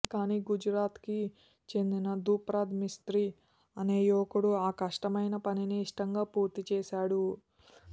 కానీ గుజరాత్కి చెందిన ద్రుపద్ మిస్త్రీ అనే యువకుడు ఆ కష్టమైన పనిని ఇష్టంగా పూర్తిచేశాడు